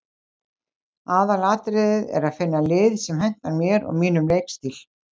Aðalatriðið er að finna lið sem hentar mér og mínum leikstíl.